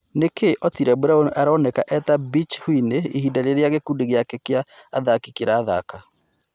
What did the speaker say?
nĩ kĩ otile brown aroneka eta bitch whiny ĩhinda rĩrĩa gikũndi gĩake Kia athaki kĩrathaka